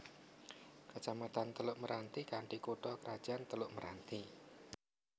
Kecamatan Teluk Meranti kanthi kutha krajan Teluk Meranti